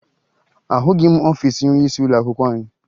Ahụghị m ọfiisi onyeisi ụlọakwụkwọ anyị